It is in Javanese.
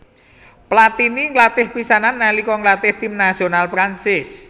Platini nglatih pisanan nalika nglatih tim nasional Prancis